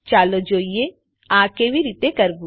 ચાલો જોઈએ આ કેવી રીતે કરવું